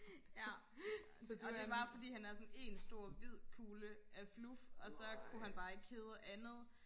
ja og det er bare fordi han er sådan en stor hvid kugle af fluf og så kunne han bare ikke hedde andet